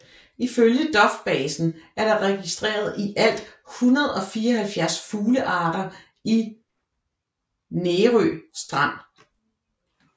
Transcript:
Ifølge dofbasen er der registreret i alt 174 fuglearter i Nærå Strand